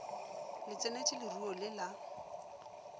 le tseneletše leruo le la